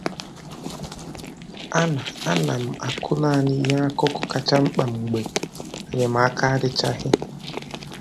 A na A na m akụ naanị ihe akụkụ kacha mkpa mgbe enyemaka adịchaghị